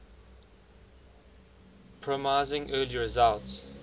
promising early results